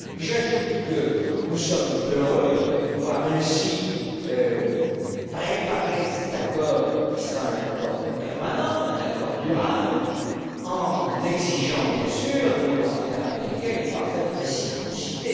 J'ajoute que nous sommes heureux de pouvoir ainsi préparer cet accord, qui sera un accord permanent, un accord durable, en exigeant, bien entendu, de nos partenaires américains une parfaite réciprocité.